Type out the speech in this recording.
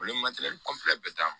Olu ye bɛɛ ta